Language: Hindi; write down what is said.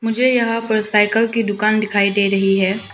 मुझे यहां पर साइकिल की दुकान दिखाई दे रही है।